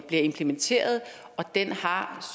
bliver implementeret og den har